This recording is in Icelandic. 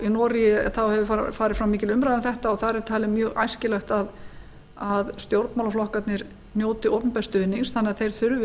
í noregi hefur farið fram mikil umræða um þetta og þar er talið mjög æskilegt að stjórnmálaflokkarnir njóti opinbers stuðnings þannig að þeir þurfi